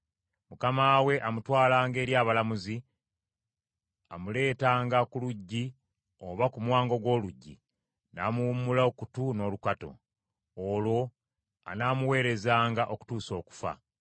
mukama we amutwalanga eri abalamuzi, amuleetanga ku luggi oba ku mwango gw’oluggi, n’amuwummula okutu n’olukato. Olwo anaamuweerezanga okutuusa okufa.